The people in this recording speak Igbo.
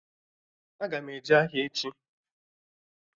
Aga m eje ahịa echi